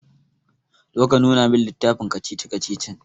Zo ka nuna min littafin kacici-kacicicin.